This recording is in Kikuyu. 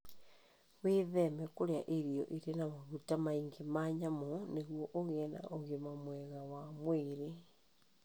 Wĩtheme kũrĩa irio irĩ na maguta maingĩ ma nyamũ nĩguo ũgĩe na ũgima mwega wa mwĩrĩ.